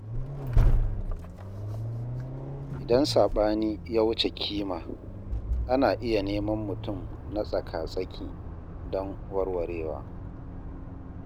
Idan saɓani ya wuce kima, ana iya neman mutum na tsaka-tsaki don warwarewa.